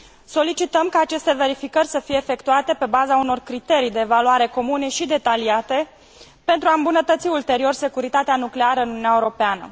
Solicităm ca aceste verificări să fie efectuate pe baza unor criterii de evaluare comune și detaliate, pentru a îmbunătăți ulterior securitatea nucleară în Uniunea Europeană.